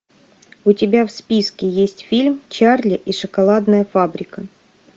у тебя в списке есть фильм чарли и шоколадная фабрика